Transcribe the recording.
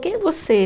Quem é você?